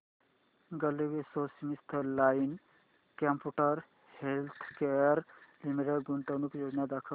GlaxoSmithKline consumer healthcare limited गुंतवणूक योजना दाखव